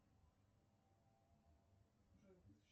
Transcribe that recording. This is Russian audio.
джой